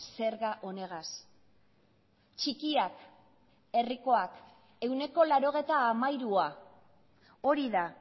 zerga honegaz txikiak herrikoak ehuneko laurogeita hamairua hori da